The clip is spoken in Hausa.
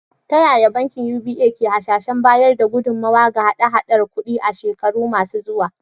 Ta yaya bankin UBA ke hasashen bayar da gudummawa ga hada-hadar kudi a shekaru masu zuwa?